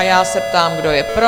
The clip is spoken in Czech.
A já se ptám, kdo je pro?